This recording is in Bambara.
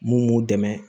Mun b'u dɛmɛ